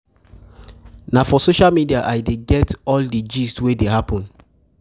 um Na um for social media I dey get all um di all um di gist wey dey happen.